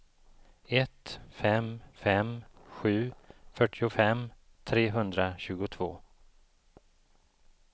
ett fem fem sju fyrtiofem trehundratjugotvå